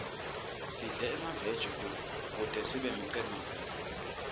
sidle emaveji kute sibe imicemane